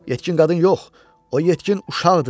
Yetkin qadın yox, o yetkin uşaqdır.